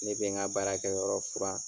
Ne bɛ n ka baara kɛ yɔrɔ furan.